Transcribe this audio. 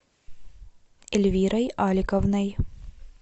эльвирой аликовной